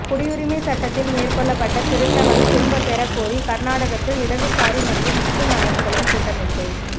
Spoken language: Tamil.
குடியுரிமைச் சட்டத்தில் மேற்கொள்ளப்பட்ட திருத்தங்களைத் திரும்பப் பெறக் கோரி கர்நாடகத்தில் இடதுசாரி மற்றும் முஸ்லீம் அமைப்புகளின் கூட்டமைப்பு